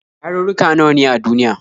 Yarurruka nawa ne a duniya?